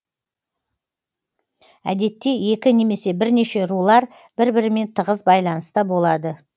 әдетте екі немесе бірнеше рулар бір бірімен тығыз байланыста болады